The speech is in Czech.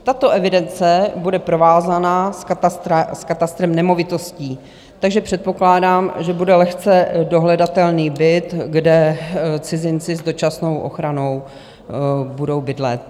Tato evidence bude provázána s katastrem nemovitostí, takže předpokládám, že bude lehce dohledatelný byt, kde cizinci s dočasnou ochranou budou bydlet.